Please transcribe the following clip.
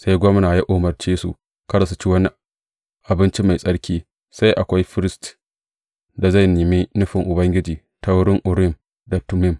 Sai gwamna ya umarce su kada su ci wani abinci mafi tsarki, sai akwai firist da zai nemi nufin Ubangiji ta wurin Urim da Tummim.